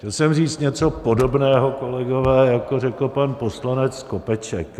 Chtěl jsem říct něco podobného, kolegové, jako řekl pan poslanec Skopeček.